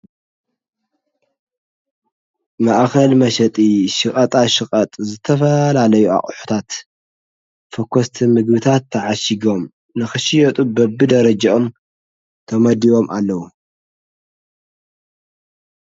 ማእኸል መሸጢ ሸቀጣ ሸቐጥ ዝተፈላለዩ ኣቑሑታት ፎኮስቲ ምግብታት ተዓሺጎም ንኽሽየጡ በብደረጃኦም ተመዲቦም ኣለዉ።